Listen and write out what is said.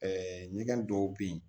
Ɛɛ ɲɛgɛn dɔw bɛ yen